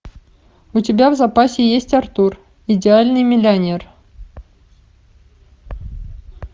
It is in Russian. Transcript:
у тебя в запасе есть артур идеальный миллионер